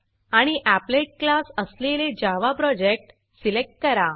आणि applet applet class असलेले Java project select करा